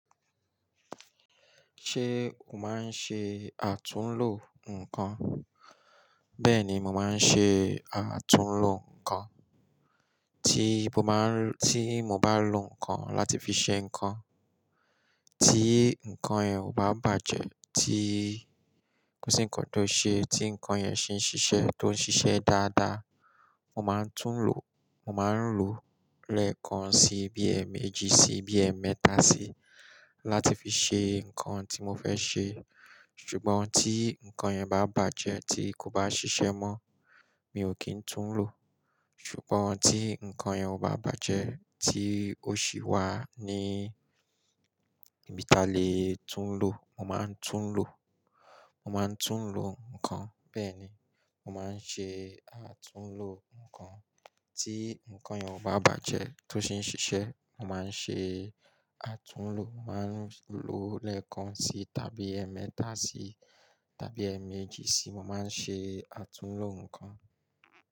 Ṣé o máa ń ṣe àtúnlo nǹkan? Bẹ́ẹ̀ni, mo máa ń ṣe àtúnlo nǹkan. Tí mo bá, tí mo bá lo nǹkan láti fi ṣe nǹkan, tí nǹkan yẹn ò bá bàjẹ́, tí kò sí nǹkan tó ṣe, tí nǹkan yẹn sì ń ṣiṣẹ́, tó ń ṣiṣẹ́ dáadáa, mo máa ń tún lò. Mo máa ń lo lẹ́ẹ̀kan sí i, bí i ẹ̀ẹ̀méjì sí i, bí i ẹ̀ẹmẹ́ta sí i láti fi ṣe nǹkan tí mo fẹ́ ṣe. Ṣùgbọ́n tí nǹkan yẹn bá bàjẹ́, tí kò bá ṣiṣẹ́ mọ́, mi ò kí ń tún lò. Ṣùgbọ́n tí nǹkan yẹn ò bá bàjẹ́, tí ó sì wà ní ibi táalè tún lò, mo máa ń tún lò. Mo máa ń tún lò nǹkan. Bẹ́ẹ̀ni, mo máa ń ṣe àtúnlo nǹkan. Tí nǹkan yẹn ò bá bàjẹ́, tó sì ń ṣiṣẹ́, mo máa ń ṣe àtúnlo. Mo máa ń lo lẹ́ẹ̀kan sí i tàbí ẹ̀ẹ́mẹ́ta sí i tàbí ẹgbẹ̀ẹ́ méjì sí i. Mo máa ń ṣe àtúnlo nǹkan.